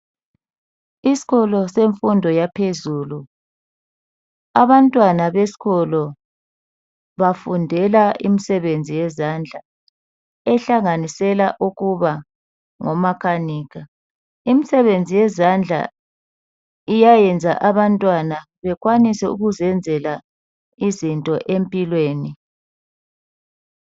Iskolo semfundo yaphezulu. Abantwana beskolo bafundela imisebenzi yezandla ehlanganisela ukuba ngomakanika. Imisebenzi yezandla iyayenza abantwana bekwanise ukuzenzela izinto empilweni.